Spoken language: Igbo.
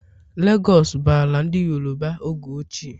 Legos bụ ala ndị Yoroba oge ochie.